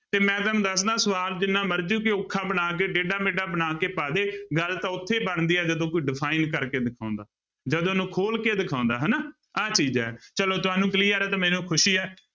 ਤੇ ਮੈਂ ਤੁਹਾਨੂੰ ਦੱਸਦਾਂ ਸਵਾਲ ਜਿੰਨਾ ਮਰਜ਼ੀ ਕੋਈ ਔਖਾ ਬਣਾ ਕੇ ਟੇਢਾ ਮੇਢਾ ਬਣਾ ਕੇ ਪਾ ਦੇ, ਗੱਲ ਤਾਂ ਉੱਥੇ ਬਣਦੀ ਹੈ ਜਦੋਂ ਕੋਈ define ਕਰਕੇ ਦਿਖਾਉਂਦਾ, ਜਦੋਂ ਉਹਨੂੰ ਖੋਲ ਕੇ ਦਿਖਾਉਂਦਾ ਹਨਾ, ਆਹ ਚੀਜ਼ ਹੈ ਚਲੋ ਤੁਹਾਨੂੰ clear ਹੈ ਤਾਂ ਮੈਨੂੰ ਖ਼ੁਸ਼ੀ ਹੈ।